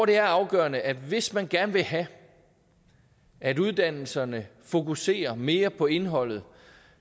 det er afgørende at hvis man gerne vil have at uddannelserne fokuserer mere på indholdet